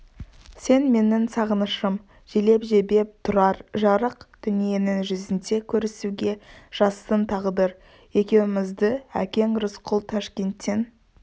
сені менің сағынышым желеп-жебеп жүргей тұрар жарық дүниенің жүзінде көрісуге жазсын тағдыр екеумізді әкең рысқұл ташкенттен